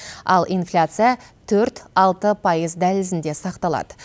ал инфляция төрт алты пайыз дәлізінде сақталады